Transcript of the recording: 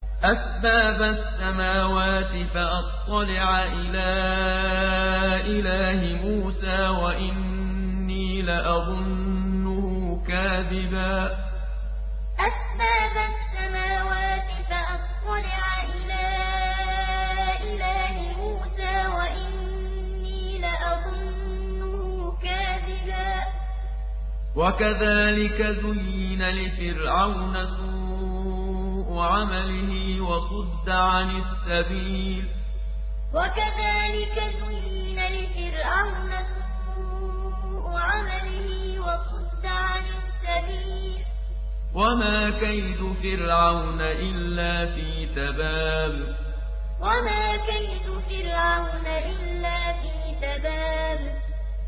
أَسْبَابَ السَّمَاوَاتِ فَأَطَّلِعَ إِلَىٰ إِلَٰهِ مُوسَىٰ وَإِنِّي لَأَظُنُّهُ كَاذِبًا ۚ وَكَذَٰلِكَ زُيِّنَ لِفِرْعَوْنَ سُوءُ عَمَلِهِ وَصُدَّ عَنِ السَّبِيلِ ۚ وَمَا كَيْدُ فِرْعَوْنَ إِلَّا فِي تَبَابٍ أَسْبَابَ السَّمَاوَاتِ فَأَطَّلِعَ إِلَىٰ إِلَٰهِ مُوسَىٰ وَإِنِّي لَأَظُنُّهُ كَاذِبًا ۚ وَكَذَٰلِكَ زُيِّنَ لِفِرْعَوْنَ سُوءُ عَمَلِهِ وَصُدَّ عَنِ السَّبِيلِ ۚ وَمَا كَيْدُ فِرْعَوْنَ إِلَّا فِي تَبَابٍ